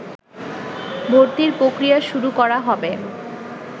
ভর্তির প্রক্রিয়া শুরু করা হবে